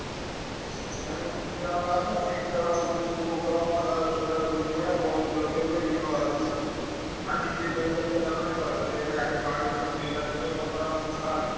ଆଁ ସେଠୀପାଇଁ ଗୋଟେ ମଜା ହବ କଥା ସେ ଖେଳ ପୁଣି କୋଉ ଖେଳ ହବ ନାଁ ତାଦହେରେ ଦୌଡା ଦୌଡି ଯୋଉ ଭଳିଆ ball କୁ ଲକ୍ଷ୍ୟ କରି ନବାର ଅଛି ଭାଇ। ହଁ ଟିକେ ବେଲକ୍ଷ୍ୟ ହେଲା ମାନେ ଗଲା ସେ boundary ଖସିଯିବ ଜାଣିଛ ତ ପତଳା ବାଡି।